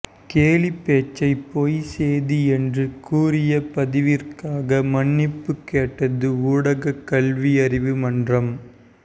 கேலிப்பேச்சைப் பொய்ச் செய்தி என்று கூறிய பதிவிற்காக மன்னிப்பு கேட்டது ஊடக கல்வியறிவு மன்றம்